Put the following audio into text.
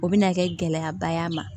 O bɛna kɛ gɛlɛyaba y'a ma